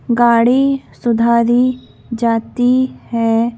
गाड़ी सुधारी जाती है।